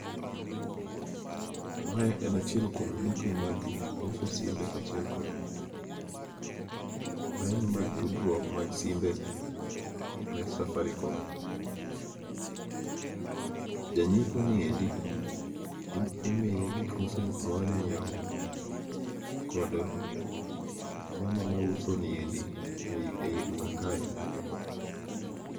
Mae en achiel kuom dukni mag uso simbe kaachiel kod laini mag tudruok mag simbe mek Safaricom. Janyiepo ni endi imiye gik ma ose, ma onyiewo kod mama mauso ni endi ei, ei duka kae.